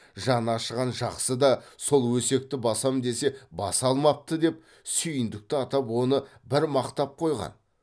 жаны ашыған жақсы да сол өсекті басам десе баса алмапты деп сүйіндікті атап оны бір мақтап қойған